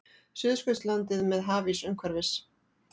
Suðurskautslandið með hafís umhverfis.